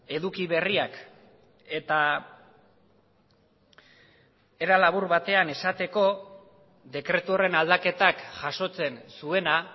eduki berriak eta era labur batean esateko dekretu horren aldaketak jasotzen zuena